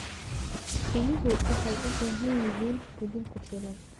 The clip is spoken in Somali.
Riyuhu waxay u baahan yihiin quudin ku filan.